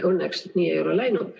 Õnneks nii ei ole läinud.